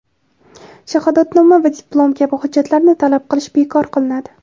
shahodatnoma va diplom kabi hujjatlarni talab qilish bekor qilinadi;.